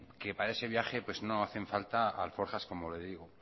para ese viaje pues no hacen falta alforjas como le digo